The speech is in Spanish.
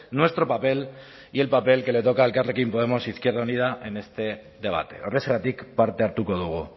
nuestro papel y el papel que le toca a elkarrekin podemos izquierda unida en este debate horrexegatik parte hartuko dugu